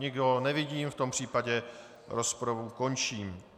Nikoho nevidím, v tom případě rozpravu končím.